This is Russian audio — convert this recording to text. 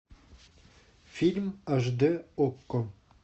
фильм аш дэ окко